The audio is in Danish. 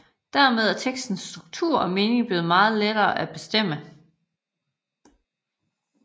Dermed er tekstens struktur og mening blevet meget lettere at bestemme